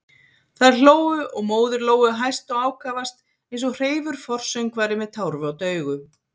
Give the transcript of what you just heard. Þær hlógu og móðir Lóu hæst og ákafast, eins og hreifur forsöngvari með tárvot augu.